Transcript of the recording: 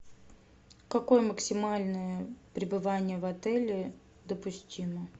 какое максимальное пребывание в отеле допустимо